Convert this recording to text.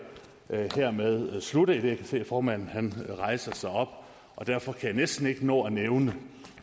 skal hermed slutte idet jeg kan se at formanden rejser sig op derfor kan jeg næsten ikke nå at nævne